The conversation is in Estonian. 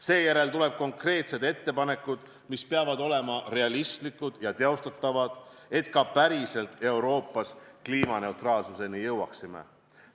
Seejärel tulevad konkreetsed ettepanekud, mis peavad olema realistlikud ja teostatavad, et me ka päriselt Euroopas kliimaneutraalsuseni jõuaksime.